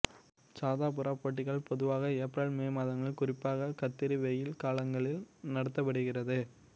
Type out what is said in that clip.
சாதா புறா போட்டிகள் பொதுவாக ஏப்ரல் மே மாதங்களில் குறிப்பாக கத்தரி வெயில் காலங்களில் நடத்தப்படுகிறது